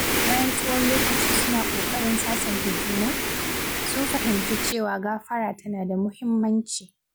Bayan tsawon lokaci suna ƙoƙarin sasanta juna, sun fahimci cewa gafara tana da muhimmanci.